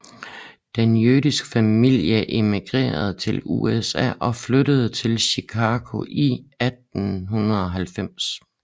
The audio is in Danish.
Den jødiske familie immigrerede til USA og flyttede til Chicago i 1890